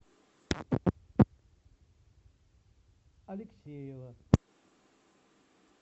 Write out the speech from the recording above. алексеева